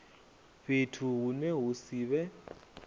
fhethu hune ha si vhe